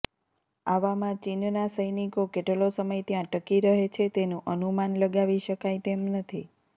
આવામાં ચીનના સૈનિકો કેટલો સમય ત્યાં ટકી રહે છે તેનું અનુમાન લગાવી શકાય તેમ નથી